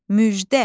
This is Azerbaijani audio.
Müjdə.